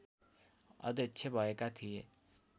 अध्यक्ष भएका थिए